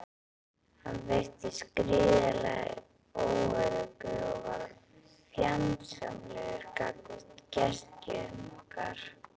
Hann virtist gríðarlega óöruggur og varð fjandsamlegur gagnvart gestgjöfum okkar.